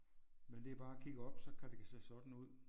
Men det er bare at kigge op så kan det give sig sådan ud